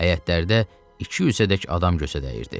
Həyətlərdə iki yüzə dək adam gözə dəyirdi.